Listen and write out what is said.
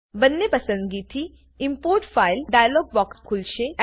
બંને પસંદગીથી import file dialog box ખુલશે